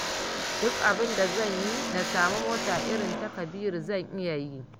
Duk abinda zan yi na samu mota irin ta kabiru zan iya yi